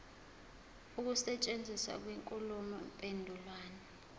ukusetshenziswa kwenkulumo mpendulwano